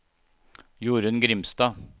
Jorunn Grimstad